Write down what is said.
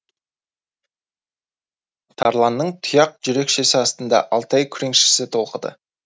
тарланның тұяқ жүрекшесі астында алтай күреңшесі толқыды